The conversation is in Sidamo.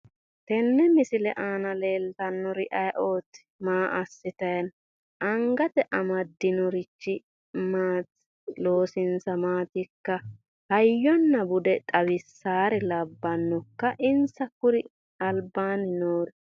Tenne misile aana leeltannori ayiooti maa assitayi no angate amaddinorichi maati loosinsa maatikka hayyonna bude xawissawure labbannokka insa kuri albaanni noori